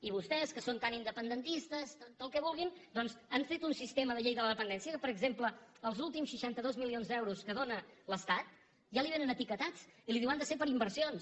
i vostès que són tan independentistes i tot el que vulguin doncs han fet un sistema de llei de la dependència que per exemple els últims seixanta dos milions d’euros que dóna l’estat ja li vénen etiquetats i li diuen han de ser per a inversions